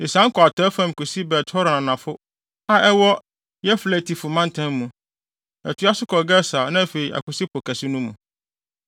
Esian fa atɔe fam kosi Bet-Horon Anafo a ɛwɔ Yafletifo mantam mu. Ɛtoa so kɔ Geser na afei akosi Po Kɛse no mu.